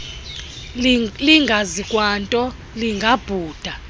lingazi kwanto lingabhuda